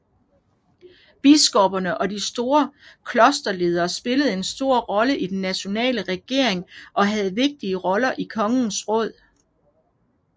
Biskopperne og de store klosterledere spillede en stor rolle i den nationale regering og havde vigtige roller i kongens råd